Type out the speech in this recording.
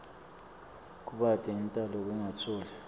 kubate intalo kungatfoli